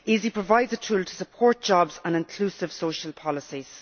EaSI provides a tool for supporting jobs and inclusive social policies.